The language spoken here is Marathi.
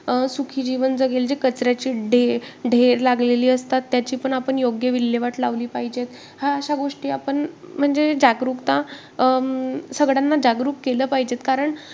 अं सुखी जीवन जगेल, कचऱ्याची ढेर लागलेली असतात, त्याची पण आपण योग्य विल्हेवाट लावली पाहिजे. ह्या अशा गोष्टी आपण म्हणजे जागरूकता अं जागरूक केलं पाहिजे. कारण